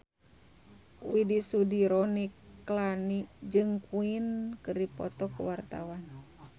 Widy Soediro Nichlany jeung Queen keur dipoto ku wartawan